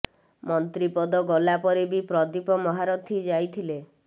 ମନ୍ତ୍ରୀ ପଦ ଗଲା ପରେ ବି ପ୍ରଦୀପ ମହାରଥୀ ଯାଇଥିଲେ